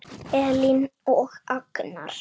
Elín og Agnar.